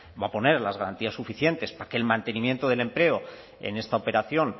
va a poner las garantías suficientes para que el mantenimiento del empleo en esta operación